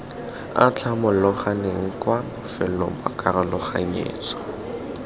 atlhamologaneng kwa bofelong ba karologanyetso